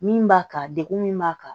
Min b'a kan degun min b'a kan